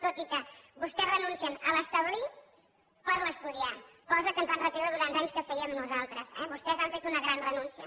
tot i que vostès renuncien a l’ establir per l’ estudiar cosa que ens van retreure durant anys que fèiem nosaltres eh vostès han fet una gran renúncia